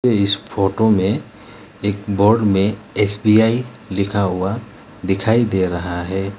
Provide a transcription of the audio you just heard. इस फोटो में एक बोर्ड में एस_बी_आई लिखा हुआ दिखाई दे रहा है।